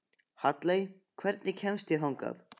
Halley, hvernig kemst ég þangað?